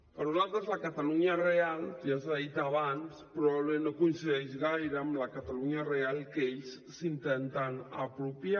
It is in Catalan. per nosaltres la catalunya real ja s’ha dit abans probablement no coincideix gaire amb la catalunya real que ells s’intenten apropiar